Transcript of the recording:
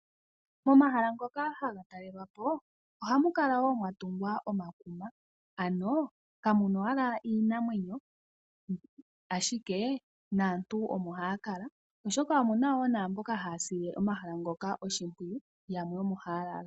Momahala ngoka haga talelwapo ohamu kala mwa tunga omakuma kamuna owala iinamwenyo ashika naantu omo haya kala oshoka omuna namboka haya sile omahala ngoka oshimpwiyu yamwe omo haya lala.